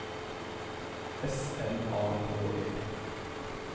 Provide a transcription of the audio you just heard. S M A K E